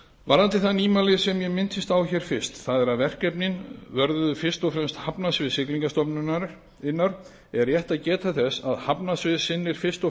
varðandi það nýmæli sem ég minntist á hér fyrst það er að verkefnin vörðuðu fyrst og fremst hafnasvið siglingastofnunar er rétt að geta þess að hafnasvið sinnir fyrst og